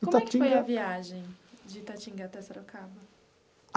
Como é que foi a viagem de Itatinga até Sorocaba?